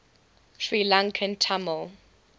sri lankan tamil